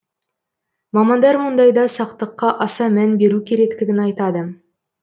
мамандар мұндайда сақтыққа аса мән беру керектігін айтады